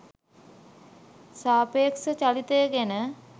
සාපේක්ෂ චලිතය ගැන